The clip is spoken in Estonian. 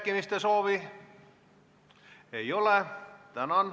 Kõnesoove ei ole.